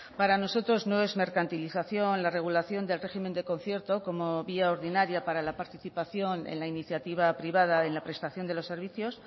para nosotros no es mercantilización la regulación del régimen de concierto como vía ordinaria para la participación en la iniciativa privada en la prestación de los servicios